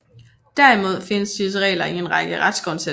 Derimod findes disse regler i en række retsgrundsætninger